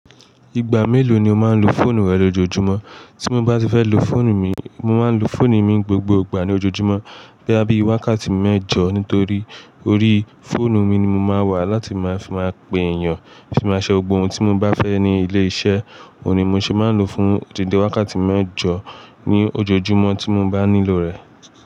Ìgbà mélòó ni o máa ń lo fóònù rẹ lójoojúmọ́? Tí mo bá ti fẹ́ lo fóònù mi, mo máa ń lo fóònù mi n gbogbo ìgbà ní ojoojúmọ́ boya bí i wákàtí mẹ́jọ nítorí orí fóònù mi ni mo máa wà láti máa fi máa pe èèyàn, fi máa ṣe gbogbo ohun tí mo bá fẹ́ ní ilé iṣẹ́. Òhun ni mo ṣe máa ń lo fún dídé wákàtí mẹ́jọ ní ojoojúmọ́ tí mo bá nílò rẹ̀.